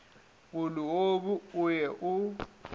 o leobu o ye o